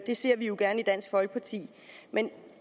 det ser vi jo gerne i dansk folkeparti men